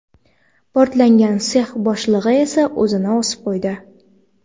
Portlagan sex boshlig‘i esa o‘zini osib qo‘ydi .